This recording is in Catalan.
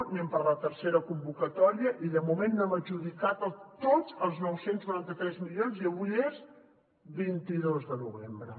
anem per la tercera convocatòria i de moment no hem adjudicat tots els nou cents i noranta tres milions i avui és vint dos de novembre